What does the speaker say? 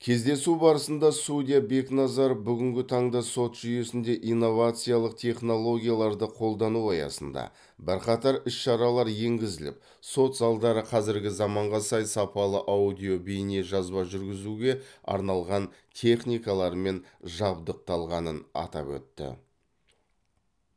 кездесу барысында судья бекназаров бүгінгі таңда сот жүйесінде инновациялық технологияларды қолдану аясында бірқатар іс шаралар енгізіліп сот залдары қазіргі заманға сай сапалы аудио бейне жазба жүргізілуге арналған техникалармен жабдықталғанын атап өтті